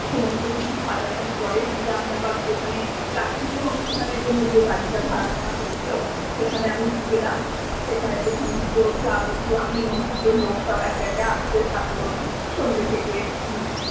সমস্ত কিছু সাজানোর পরে যেটা আমি আবার যেখানে রাত্রিরের ও অনুষ্ঠানের জন্য যে বাড়িটা ভাড়া করা হয়েছিলো সেখানে আমি গেলাম সেখানেতে সমস্ত যাবতীয় নিমন্ত্রিতি লোক সব একে একে আস্তে থাকলো সন্ধ্যে থেকে।